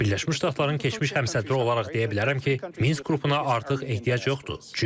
Birləşmiş Ştatların keçmiş həmsədri olaraq deyə bilərəm ki, Minsk qrupuna artıq ehtiyac yoxdur.